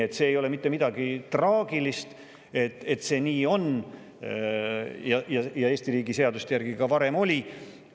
Selles ei ole mitte midagi traagilist, et see nii on, Eesti riigi seaduste järgi oli ka varem nii.